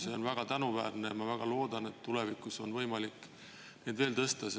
See on väga tänuväärne ja ma väga loodan, et tulevikus on võimalik neid veel tõsta.